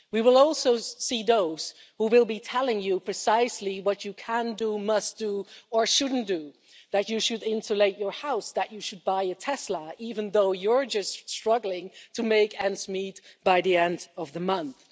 We will also see those who will be telling you precisely what you can do, must do, or shouldn't do that you should insulate your house, that you should buy a Tesla, even though you're just struggling to make ends meet by the end of the month.